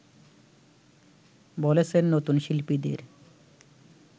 বলেছেন নতুন শিল্পীদের